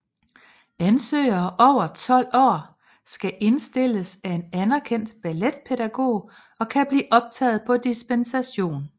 Ansøgere over 12 år skal indstilles af en anerkendt balletpædagog og kan blive optaget på dispensation